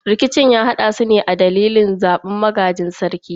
Rikicin ya haddasu ne a dalilin zabar wanda zai gaji sarki.